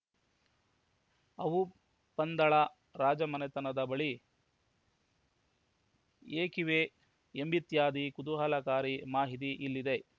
ಅವು ಪಂದಳ ರಾಜಮನೆತನದ ಬಳಿ ಏಕಿವೆ ಎಂಬಿತ್ಯಾದಿ ಕುತೂಹಲಕಾರಿ ಮಾಹಿತಿ ಇಲ್ಲಿದೆ